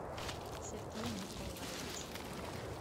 сергей нурбалаевич